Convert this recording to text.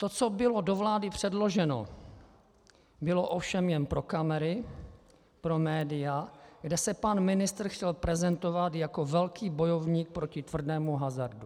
To, co bylo do vlády předloženo, bylo ovšem jen pro kamery, pro média, kde se pan ministr chtěl prezentovat jako velký bojovník proti tvrdému hazardu.